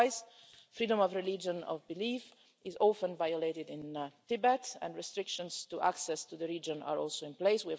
Likewise, freedom of religion, of belief, is often violated in Tibet, and restrictions to access to the region are also in place.